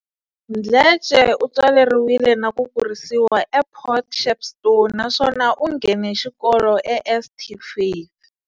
Mdletshe u tswaleriwile na ku kurisiwa ePort Shepstone naswona u nghene xikolo eSt Faiths.